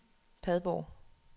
Padborg